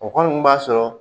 O kɔni b'a sɔrɔ